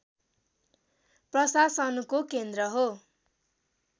प्रशासनको केन्द्र हो